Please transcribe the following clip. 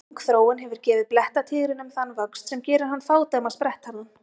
Löng þróun hefur gefið blettatígrinum þann vöxt sem gerir hann fádæma sprettharðan.